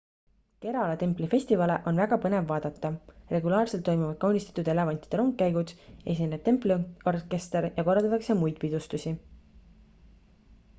kerala templi festivale on väga põnev vaadata regulaarselt toimuvad kaunistatud elevantide rongkäigud esineb templi orkester ja korraldatakse muid pidustusi